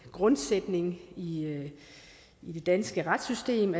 grundsætning i i det danske retssystem